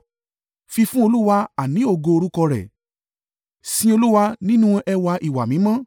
Fi fún Olúwa, àní ògo orúkọ rẹ̀; sin Olúwa nínú ẹwà ìwà mímọ́.